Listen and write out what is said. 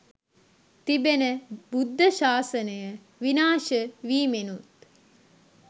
තිබෙන බුද්ධ ශාසනය විනාශ වීමෙනුත්